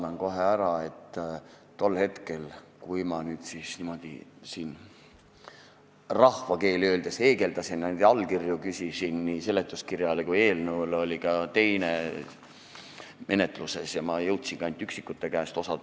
Palun kohe vabandust, et tol hetkel, kui ma rahvakeeli öeldes heegeldasin ja küsisin allkirju nii seletuskirjale kui ka eelnõule, oli ka teine eelnõu menetluses ja ma jõudsin küsida ainult üksikute käest.